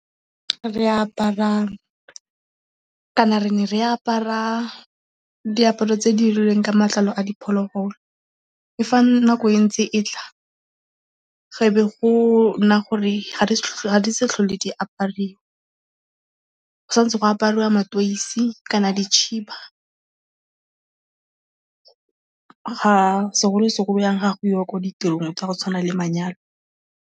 Re apara, re ne re apara diaparo tse di dirilweng ka matlalo a diphologolo. Fa nako e ntse e tla e be go nna gore ga di sa tlhole di apariwa. Go santse go apariwa mateisi kana dikhiba ga segolo-segolo ga go iwa ko ditirong tsa go tshwana le manyalo.